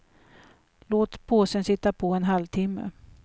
Låt påsen sitta på i en halvtimme.